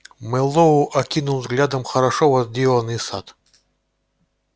мэллоу окинул взглядом хорошо возделанный сад